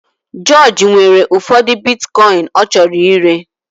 George nwere ụfọdụ Bitikoin ọ chọrọ ire